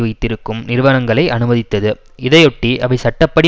வைத்திருக்கும் நிறுவனங்களை அனுமதித்தது இதையொட்டி அவை சட்ட படி